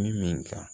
Min ka